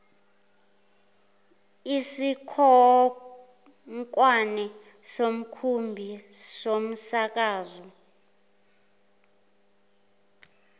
isikhonkwane somkhumbi somsakazo